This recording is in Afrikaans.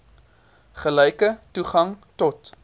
gelyke toegang tot